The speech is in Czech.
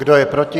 Kdo je proti?